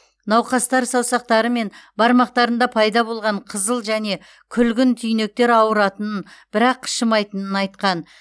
науқастар саусақтары мен бармақтарында пайда болған қызыл және күлгін түйнектер ауыратынын бірақ қышымайтынын айтқан